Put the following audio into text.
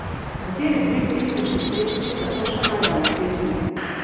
Kateri dve pesniški sredstvi tako še najdemo v pesmi?